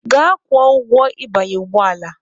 Gaa kwụọ ụgwọ ịbanye ụgbọ ala!